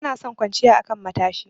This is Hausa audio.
Bani son kwanciya a kan matashi.